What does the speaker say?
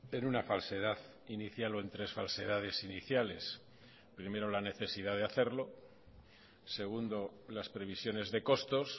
en una falsedad inicial o en tres falsedades iniciales primero la necesidad de hacerlo segundo las previsiones de costos